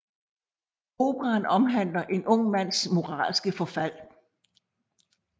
Operaen omhandler en ung mands moralske forfald